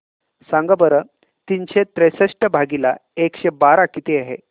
सांगा बरं तीनशे त्रेसष्ट भागीला एकशे बारा किती आहे